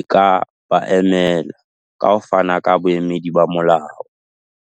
e ka ba emela, ka ho fana ka boemedi ba molao.